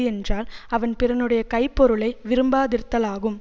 என்றால் அவன் பிறனுடைய கைப்பொருளை விரும்பாதிருத்தலாகும்